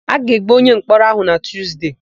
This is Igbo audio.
A ga-egbu onyemkpọrọ áhụ̀ na Tuzde.